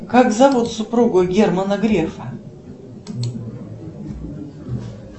как зовут супругу германа грефа